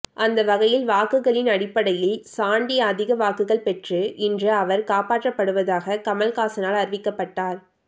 அந்த வகையில் வாக்குகளின் அடிப்படையில் சாண்டி அதிக வாக்குகள் பெற்ற இன்று அவர் காப்பாற்றப்படுவதாக கமல்ஹாசனால் அறிவிக்கப்பட்டார்